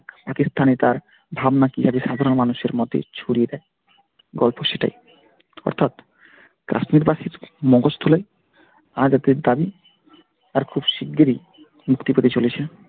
পাকিস্তানে তার ধারণা কিভাবে সাধারণ মানুষের মধ্যে ছড়িয়ে দেয় গল্প সেটাই অর্থাৎ কাশ্মীর বাসীর মগজ ধোলাই আজাদের দাবি আর খুব শীঘ্রই মুক্তি পেতে চলেছে।